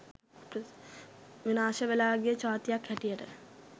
විනාශ වෙලා ගිය ජාතියක් හැටියට